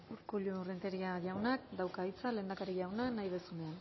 urkullu renteria jaunak dauka hitza lehendakari jauna nahi duzunean